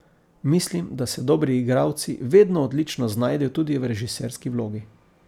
Mislim, da se dobri igralci vedno odlično znajdejo tudi v režiserski vlogi.